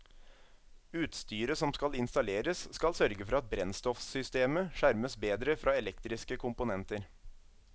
Utstyret som skal installeres skal sørge for at brennstoffsystemet skjermes bedre fra elektriske komponenter.